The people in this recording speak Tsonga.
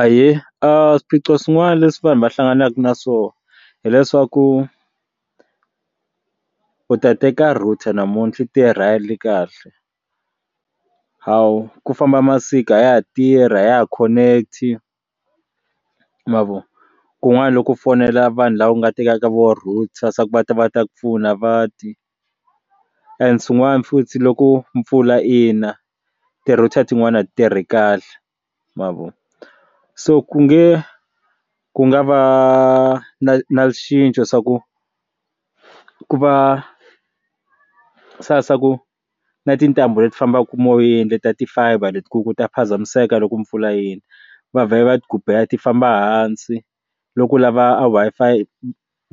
Ahee, a swiphiqo swin'wana leswi vanhu va hlanganaka na swona hileswaku u ta teka router namuntlha yi tirha kahle hawu ku famba masiku a ya ha tirhi a ya ha connect-i ma vo kun'wana loko fonela vanhu lava nga teka ka vo router swa ku va ta va ta ku pfuna a va ti and xin'wana futhi loko mpfula yina ti router tin'wani a ti ri kahle ma vo so ku nge ku nga va na na xicinco swa ku ku va swa ku na tintambu leti fambaka moyeni ta ti-fiber leti ku ta phazamiseka loku loko mpfula yina va vha va yi gubela ti famba hansi loku lava a Wi-Fi